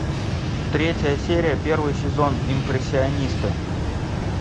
третья серия первый сезон импрессионисты